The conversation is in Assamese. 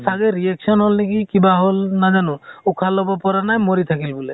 চাগে reaction হʼল নেকি কিবা হʼল নাজানো, উশাহ লʼব পৰা নাই মৰি থাকিল বোলে।